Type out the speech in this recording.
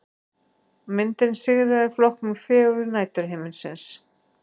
Myndin sigraði í flokknum Fegurð næturhiminsins